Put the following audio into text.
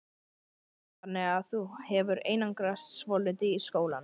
Heimir: Þannig að þú hefur einangrast svolítið í skólanum?